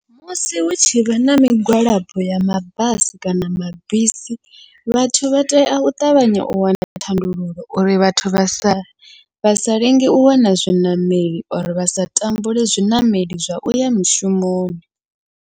Musi hu tshivha na migwalabo ya mabasi kana mabisi, vhathu vha tea u ṱavhanya u wana thandululo uri vhathu vha sa vha sa lenge u wana zwiṋameli, or vha sa tambule zwiṋameli zwa uya mishumoni.